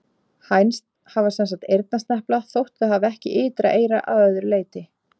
Hænsn hafa sem sagt eyrnasnepla þótt þau hafi ekki ytra eyra að öðru leyti.